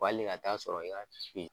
ale ka taa sɔrɔ i ka